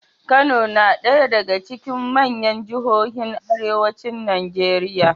Kano na ɗaya daga cikin manyan jihohin arewacin Najeriya.